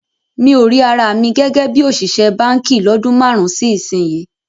Mi ò rí ara mi gẹ́gẹ́ bí òṣìṣẹ́ báǹkì lọ́dún márùn-ún sí ìsinyìí